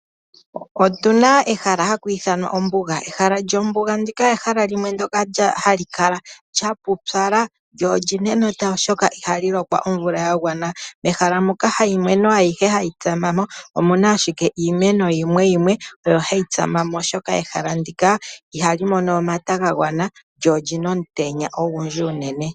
Otuna ehala hali ithanwa ombuga. Ehala lyombuga ndika ehala limwe ndoka hali kala lya pupyala lyo olyina enota oshoka ihalyi lokwa omvula ya gwana. Mehala moka haimeno ayihe hayi tsama mo omuna ashike iimeno yimwe yimwe oyo hayi tsama mo oshoka ehala ndika ihali mono omata ga gwana lyo olyina omutenya ogundji unene.